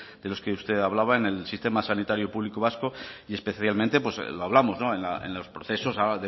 de los que usted hablaba en el sistema sanitario público vasco y especialmente lo hablamos en los procesos a